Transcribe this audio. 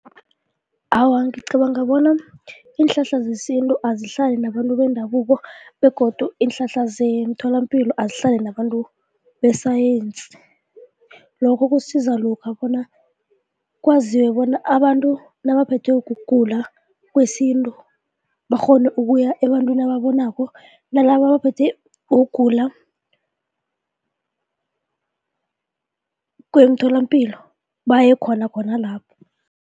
Awa, ngicabanga bona iinhlahla zesintu azihlale nabantu bendabuko begodu iinhlahla zemtholapilo azihlale nabantu besayensi, lokho kusiza lokha bona kwaziwe bona abantu nabaphethwe ukugula kwesintu bakghone ukuya ebantwini ababonako nalaba abaphethwe kugula kwemitholampilo baye khona khona lapho.